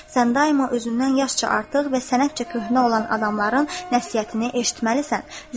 Sən daima özündən yaşca artıq və sənətcə köhnə olan adamların nəsihətini eşitməlisən."